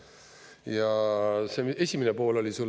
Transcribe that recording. Ja see esimene pool oli sul …